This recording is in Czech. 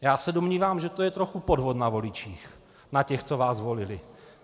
Já se domnívám, že to je trochu podvod na voličích, na těch, co vás volili.